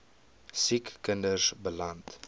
siek kinders beland